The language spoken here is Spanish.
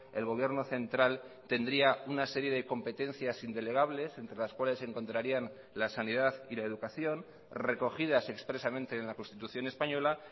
el gobierno central tendría una serie de competencias indelegables entre las cuales se encontrarían las sanidad y la educación recogidas expresamente en la constitución española